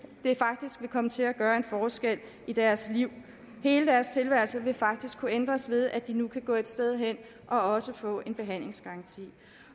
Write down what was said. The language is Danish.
vil faktisk komme til at gøre en forskel i deres liv hele deres tilværelse vil faktisk kunne ændres ved at de nu kan gå et sted hen og også få en behandlingsgaranti